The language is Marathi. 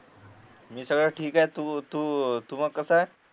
मी सगळ ठीक आहे तू तू मग कसा आहे